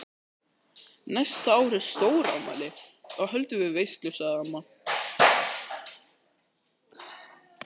Næsta ár er stórafmæli, þá höldum við veislu sagði amma.